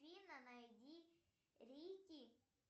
афина найди рики